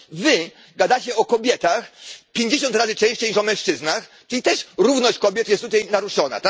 Ale przecież wy gadacie o kobietach pięćdziesiąt razy częściej niż o mężczyznach, czyli też równość kobiet jest tutaj naruszona.